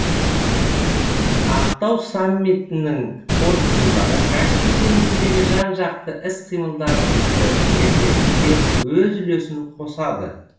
ақтау саммитінің қорытындылары каспий теңізіндегі жан жақты іс қимылдарымызды ілгерілетуге өз үлесін қосады